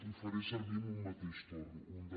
ho faré servir en un mateix torn un del